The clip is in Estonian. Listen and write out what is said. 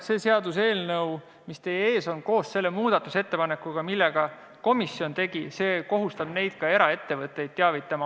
See seaduseelnõu, mis teie ees on, koos selle muudatusettepanekuga, mille komisjon tegi, kohustab teavitama ka eraettevõtteid.